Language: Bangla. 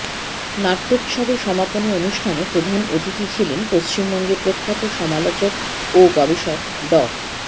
নাট্যোৎসবের সমাপনী অনুষ্ঠানে প্রধান অতিথি ছিলেন পশ্চিমবঙ্গের প্রখ্যাত সমালোচক ও গবেষক ড